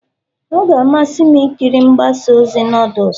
Ọ ga-amasị m ikiri mgbasa ozi noodles